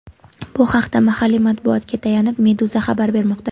Bu haqda, mahalliy matbuotga tayanib, Meduza xabar bermoqda .